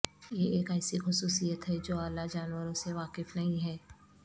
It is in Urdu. یہ ایک ایسی خصوصیت ہے جو اعلی جانوروں سے واقف نہیں ہے